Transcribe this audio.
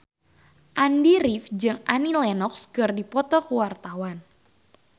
Andy rif jeung Annie Lenox keur dipoto ku wartawan